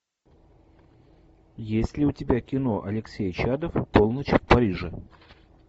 есть ли у тебя кино алексей чадов полночь в париже